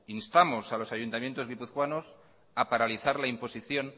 instamos a los ayuntamientos guipuzcoanos a paralizar la imposición